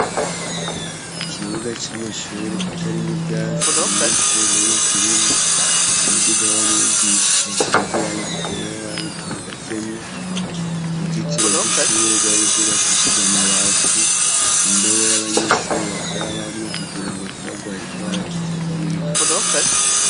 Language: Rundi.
Ikibuga c'amashuri kitarimwo ivyatsi, ata munyeshure n'umwe akirimwo; umuduga wa mwigisha usize irangi ryera wari ugihagazemwo. Uruzitiro rw'ishure rwari rwubakishije amabati. Indobo y'abanyeshure bakarabamwo kugira ngo ntibagware indwara ziterwa n'umwanda.